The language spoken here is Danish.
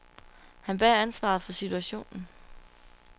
Han bærer ansvaret for situationen.